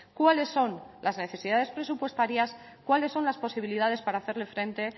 cuáles son las necesidades presupuestarias cuáles son las posibilidades para hacerle frente